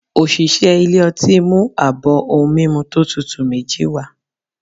Osìsé ilé ọti ,mu abọ ohún mimú to tútú mejí wa